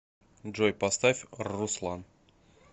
джой поставь рруслан